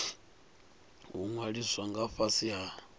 u ṅwaliswa nga fhasi ha